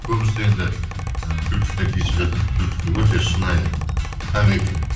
көбісі енді і күлкісіне тиісіп жатады өте шынайы табиғи